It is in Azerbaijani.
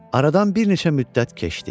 Aradan bir neçə müddət keçdi.